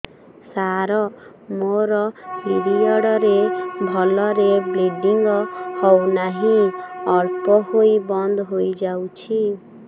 ସାର ମୋର ପିରିଅଡ଼ ରେ ଭଲରେ ବ୍ଲିଡ଼ିଙ୍ଗ ହଉନାହିଁ ଅଳ୍ପ ହୋଇ ବନ୍ଦ ହୋଇଯାଉଛି